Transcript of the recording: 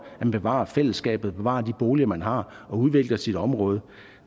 at bevare fællesskabet at bevare de boliger man har og at udvikle sit område